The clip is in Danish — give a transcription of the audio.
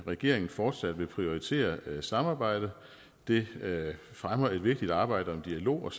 regeringen fortsat vil prioritere samarbejdet det fremmer et vigtigt arbejde og en dialog og